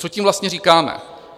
Co tím vlastně říkáme?